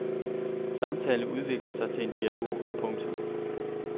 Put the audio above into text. Samtalen udvikler sig til en dialog. punktum